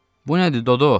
Bu nədir Dodoy?